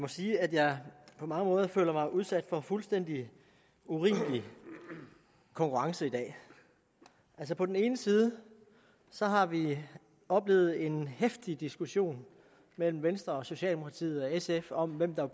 sige at jeg på mange måder føler mig udsat for fuldstændig urimelig konkurrence i dag på den ene side har vi oplevet en heftig diskussion mellem venstre og socialdemokratiet og sf om hvem der